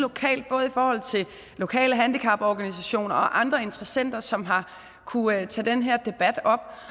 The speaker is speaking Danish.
lokalt både i forhold til lokale handicaporganisationer og andre interessenter som har kunnet tage den her debat op